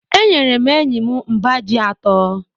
Enyere m enyi m mbá ji asatọ.